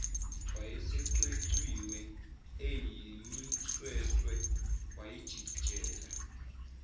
ayesecwecwiwe eyimisweswe wayijikijela